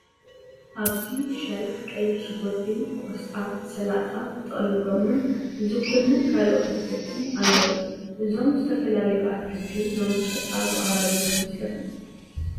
ኣብዚ ሸልፍ ቀይሕ ሽጉርቲ፣ ቆስጣ፣ ሰላጣ፣ ጥቕልል ጐመን፣ ዝኩኒን ካልኦት ኣትክልትን ኣለዉ፡፡ እዞም ዝተፈላለዩ ኣትክልቲ ናብ መሸጣ ዝቐረቡ ዶ ይመስለኩም?